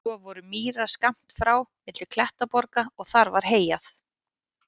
Svo voru mýrar skammt frá milli klettaborga og þar var heyjað.